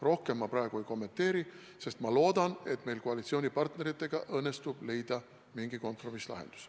Rohkem ma praegu ei kommenteeri, sest ma loodan, et meil õnnestub koalitsioonipartneritega leida mingi kompromisslahendus.